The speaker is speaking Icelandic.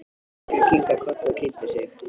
Drengurinn kinkaði kolli og kynnti sig.